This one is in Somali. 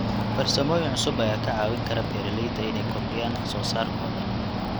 Farsamooyin cusub ayaa ka caawin kara beeralayda inay kordhiyaan wax soo saarkooda.